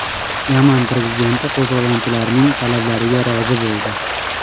Yaman prezidenti qo‘zg‘olonchilarning talablariga rozi bo‘ldi.